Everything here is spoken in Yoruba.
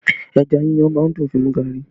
Ẹja yíyan má ń dùn fi mu gari